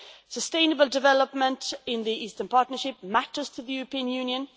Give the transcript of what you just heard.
Sustainable development in the Eastern Partnership matters to the European Union.